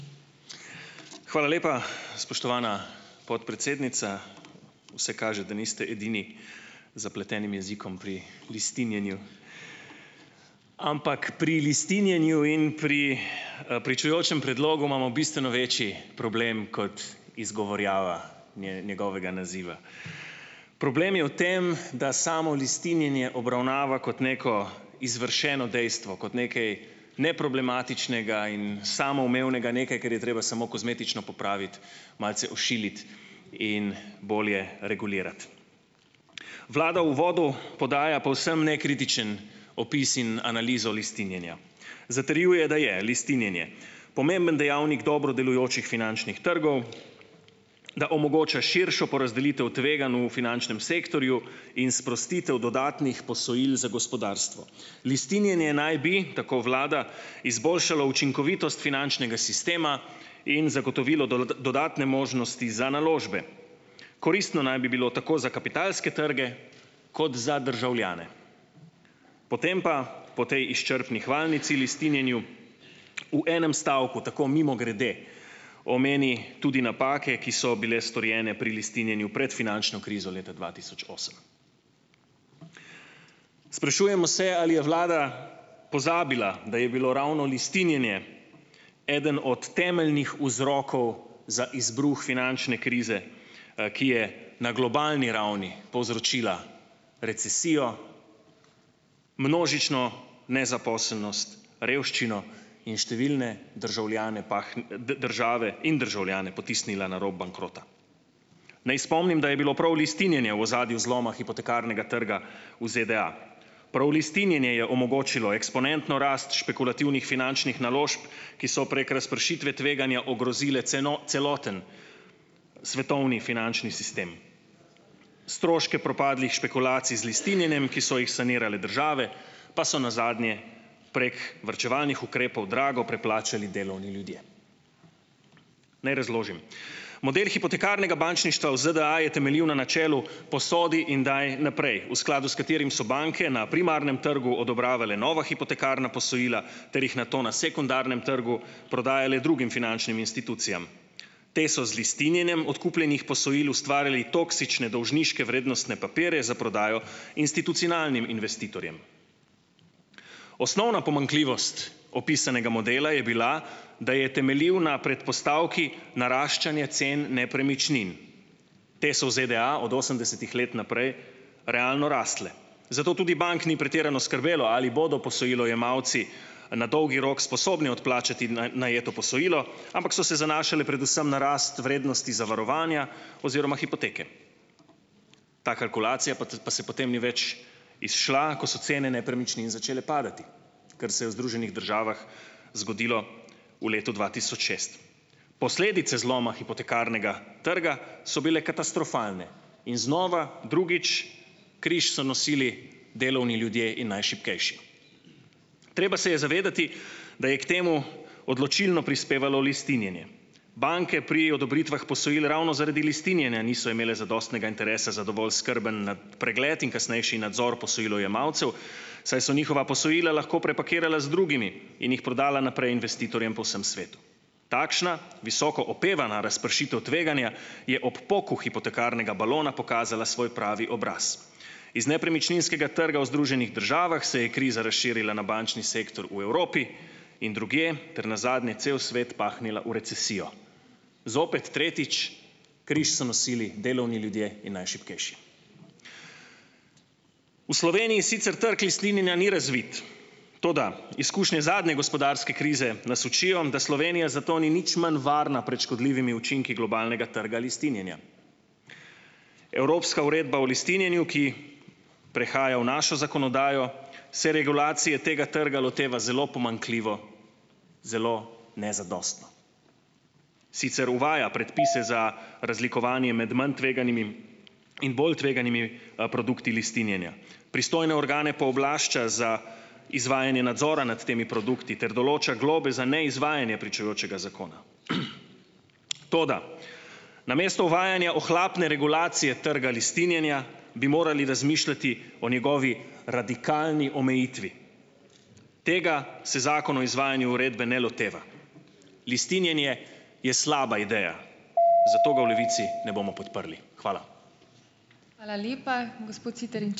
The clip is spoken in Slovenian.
Hvala lepa, spoštovana podpredsednica. Vse kaže, da niste edini zapletenim jezikom pri lastninjenju. Ampak pri lastninjenju in pri, pričujočem predlogu imamo bistveno večji problem kot izgovorjava njegovega naziva. Problem je v tem, da samo lastninjenje obravnava kot neko izvršeno dejstvo, kot nekaj neproblematičnega in samoumevnega, nekaj, kar je treba samo kozmetično popraviti, malce ošiliti in bolje regulirati. Vlada uvodu podaja povsem nekritičen opis in analizo lastninjenja. Zatrjuje, da je lastninjenje pomemben dejavnik dobro delujočih finančnih trgov, da omogoča širšo porazdelitev tveganj v finančnem sektorju in sprostitev dodatnih posojil za gospodarstvo. Lastninjenje naj bi, tako vlada, izboljšalo učinkovitost finančnega sistema in zagotovilo dodatne možnosti za naložbe. Koristno naj bi bilo tako za kapitalske trge kot za državljane. Potem pa, po tej izčrpni hvalnici lastninjenju , v enem stavku, tako mimogrede, omeni tudi napake, ki so bile storjene pri lastninjenju pred finančno krizo leta dva tisoč osem. Sprašujemo se, ali je vlada pozabila, da je bilo ravno lastninjenje eden od temeljnih vzrokov za izbruh finančne krize, ki je na globalni ravni povzročila recesijo, množično nezaposlenost, revščino in številne državljane države in državljane potisnila na rob bankrota. Naj spomnim, da je bilo prav lastninjenje v ozadju zloma hipotekarnega trga v ZDA. Prav lastninjenje je omogočilo eksponentno rast špekulativnih finančnih naložb, ki so prek razpršitve tveganja ogrozile celoten svetovni finančni sistem. Stroške propadlih špekulacij z lastninjenjem , ki so jih sanirale države, pa so nazadnje prek varčevalnih ukrepov drago preplačali delovni ljudje. Naj razložim. Model hipotekarnega bančništva v ZDA je temeljil na načelu posodi in daj naprej, v skladu s katerim so banke na primarnem trgu odobravale nova hipotekarna posojila ter jih nato na sekundarnem trgu prodajale drugim finančnim institucijam. Te so z lastninjenjem odkupljenih posojil ustvarile toksične dolžniške vrednostne papirje za prodajo institucionalnim investitorjem. Osnovna pomanjkljivost opisanega modela je bila, da je temeljil na predpostavki naraščanja cen nepremičnin. Te so v ZDA od osemdesetih let naprej realno rasle. Zato tudi bank ni pretirano skrbelo, ali bodo posojilojemalci na dolgi rok sposobni odplačati najeto posojilo, ampak so se zanašale predvsem na rast vrednosti zavarovanja oziroma hipoteke. Ta kalkulacija pa se potem ni več izšla, ko so cene nepremičnin začele padati. Kar se je v Združenih državah zgodilo v letu dva tisoč šest. Posledice zloma hipotekarnega trga so bile katastrofalne. In znova, drugič križ so nosili delovni ljudje in najšibkejši. Treba se je zavedati, da je k temu odločilno prispevalo lastninjenje. Banke pri odobritvah posojil ravno zaradi lastninjenja niso imele zadostnega interesa za dovolj skrben pregled in kasnejši nadzor posojilojemalcev, saj so njihova posojila lahko prepakirala z drugimi in jih prodala naprej investitorjem po vsem svetu. Takšna, visoko opevana razpršitev tveganja je ob poku hipotekarnega balona pokazala svoj pravi obraz. Iz nepremičninskega trga v Združenih državah se je kriza razširila na bančni sektor v Evropi in drugje ter nazadnje cel svet pahnila v recesijo. Zopet, tretjič, križ so nosili delovni ljudje in najšibkejši. V Sloveniji sicer trg lastninjenja ni razvit. Toda, izkušnje zadnje gospodarske krize nas učijo, da Slovenija za to ni nič manj varna prej škodljivimi učinki globalnega trga lastninjenja. Evropska uredba o lastninjenju, ki prehaja v našo zakonodajo, se regulacije tega trga loteva zelo pomanjkljivo. Zelo nezadostno. Sicer uvaja predpise za razlikovanje med manj tveganimi in bolj tveganimi, produkti lastninjenja. Pristojne organe pooblašča za izvajanje nadzora nad temi produkti ter določa globe za neizvajanje pričujočega zakona. toda, namesto uvajanja ohlapne regulacije trga lastninjenja, bi morali razmišljati o njegovi radikalni omejitvi. Tega se Zakon o izvajanju uredbe ne loteva. Lastninjenje je slaba ideja. Zato ga v Levici ne bomo podprli . Hvala. Hvala lepa. Gospod Siter, ...